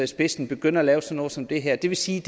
spidsen begynde at lave sådan noget som det her det vil sige